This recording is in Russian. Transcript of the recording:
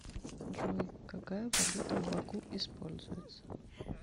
джой какая валюта в баку используется